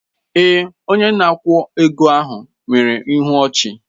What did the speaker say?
Èè, onye na-akwụ ego ahụ nwere ịhụ ọchi